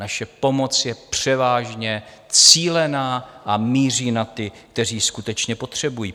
Naše pomoc je převážně cílená a míří na ty, kteří ji skutečně potřebují.